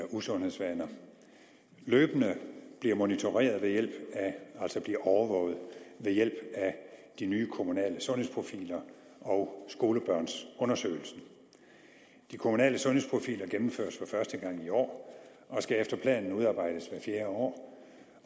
usundhedsvaner løbende bliver monitoreret altså bliver overvåget ved hjælp af de nye kommunale sundhedsprofiler og skolebørnsundersøgelsen de kommunale sundhedsprofiler gennemføres for første gang i år og skal efter planen udarbejdes hvert fjerde år